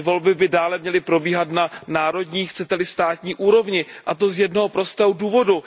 Ty volby by dále měly probíhat na národní, chcete li státní úrovni, a to z jednoho prostého důvodu.